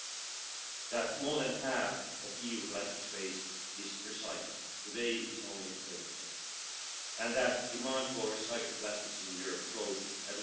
to recyclers. Secondly, the study of Member States' practices as regards implementation and verification of end of